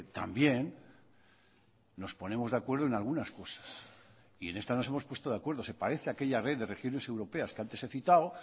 también nos ponemos de acuerdo en algunas cosas y en esta nos hemos puesto de acuerdo se parece a aquella red de regiones europeas que antes he citado